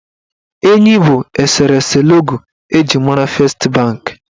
Enyi bụ eserese logo eji mara fest banki.